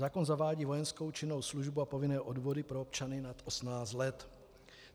Zákon zavádí vojenskou činnou službu a povinné odvody pro občany nad 18 let.